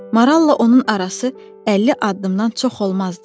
Maralla onun arası 50 addımdan çox olmazdı.